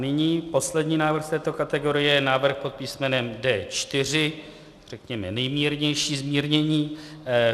Nyní poslední návrh z této kategorie, návrh pod písmenem D4, řekněme nejmírnější zmírnění.